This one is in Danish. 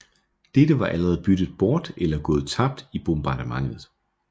Dette var allerede byttet bort eller gået tabt i bombardementet